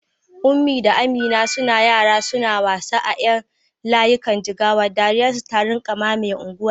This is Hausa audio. Kunmi da Amina suna yara suna wasa a ƴan layikan jigawa, dariyar su ta rinƙa mamaye unguwar.